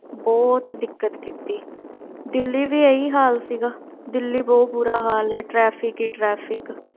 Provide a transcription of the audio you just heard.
ਬਹੁਤ ਦਿੱਕਤ ਕੀਤੀ, ਦਿੱਲੀ ਵੀ ਇਹੀ ਹਾਲ ਸੀਗਾ, ਦਿੱਲੀ ਬਹੁਤ ਬੁਰਾ ਹਾਲ ਹੈ traffic ਹੀ traffic